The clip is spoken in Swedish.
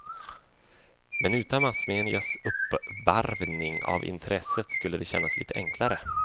Men utan massmedias uppvarvning av intresset, skulle det kännas lite enklare.